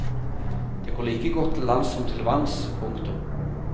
Det går like godt til lands som til vanns. punktum